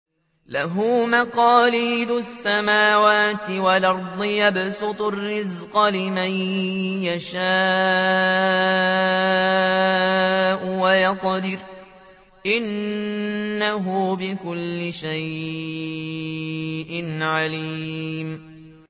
لَهُ مَقَالِيدُ السَّمَاوَاتِ وَالْأَرْضِ ۖ يَبْسُطُ الرِّزْقَ لِمَن يَشَاءُ وَيَقْدِرُ ۚ إِنَّهُ بِكُلِّ شَيْءٍ عَلِيمٌ